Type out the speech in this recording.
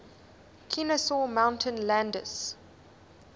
kenesaw mountain landis